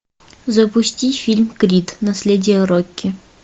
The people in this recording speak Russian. запусти фильм крид наследие рокки